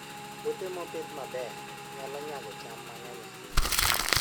Puothe mopidh maber nyalo nyago cham mang'eny ahinya.